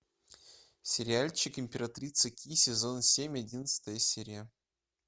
сериальчик императрица ки сезон семь одиннадцатая серия